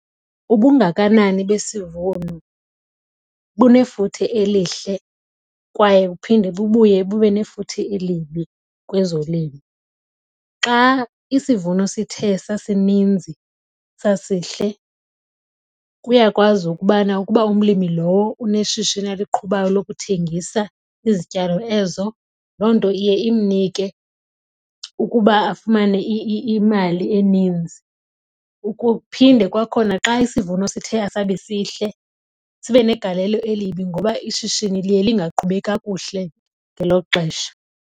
Ubungakanani besivuno bunefuthe elihle kwaye buphinde bubuye bube nefuthe elibi kwezolimo. Xa isivuno sithe sasininzi sasihle kuyakwazi ukubana ukuba umlimi lowo uneshishini aliqhubayo lokuthengisa izityalo ezo, loo nto iye imnike ukuba afumane imali eninzi. Phinde kwakhona xa isivuno sithe asabi sihle sibe negalelo elibi ngoba ishishini liye lingaqhubi kakuhle ngelo xesha.